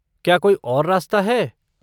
क्या कोई और रास्ता है?